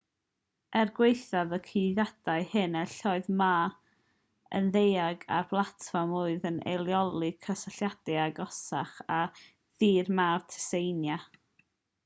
er gwaethaf y cyhuddiadau hyn enillodd ma yn ddeheuig ar blatfform oedd yn eirioli cysylltiadau agosach â thir mawr tsieina